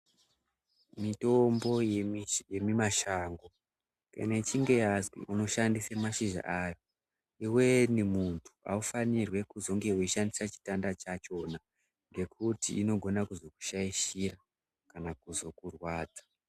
Mitombo yemumashango kana yechinge yazi unoshandise mashizha ayo iweni muntu haufanirwi kuzonge weishandisa chitanda chachona ngekuti inogona kuzokushaishira kana kuzokurwadza.